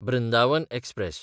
Brindavan express